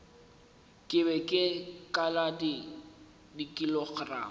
ke be ke kala dikilogramo